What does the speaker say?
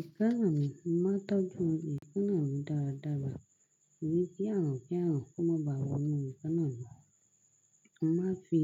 Ekana mí, mo máa tọ́jú ekanà mí dáradára, torí kí àrùn-kárùn kó má bá wọnú ekánà mi. Mo máa fi